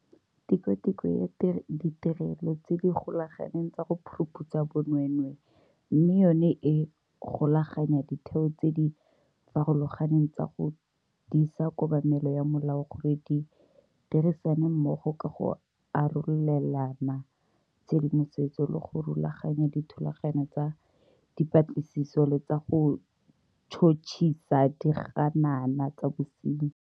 Tikwatikwe ya Ditirelo tse di Golaganeng tsa go Phuruphutsha Bonweenwee, mme yona e golaganya ditheo tse di farologaneng tsa go disa kobamelo ya molao gore di dirisane mmogo ka go arolelana tshedimosetso le go rulaganya dithulaganyo tsa dipatlisiso le tsa go tšhotšhisa diganana tsa bosenyi.